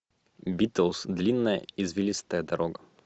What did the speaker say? битлз длинная извилистая дорога